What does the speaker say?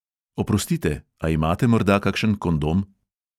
"Oprostite, a imate morda kakšen kondom?"